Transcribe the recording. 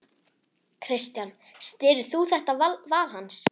Kristján: Styður þú þetta val hans?